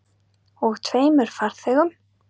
Og tveimur farþegum.